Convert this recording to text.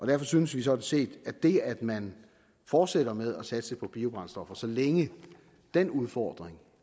derfor synes vi sådan set at det at man fortsætter med at satse på biobrændstoffer så længe den udfordring